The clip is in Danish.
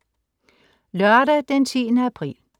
Lørdag den 10. april